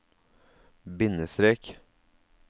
bindestrek